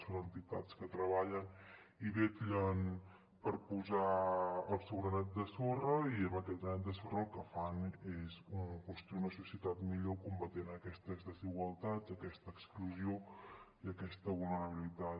són entitats que treballen i vetllen per posar el seu granet de sorra i amb aquest granet de sorra el que fan és construir una societat millor combatent aquestes desigualtats aquesta exclusió i aquesta vulnerabilitat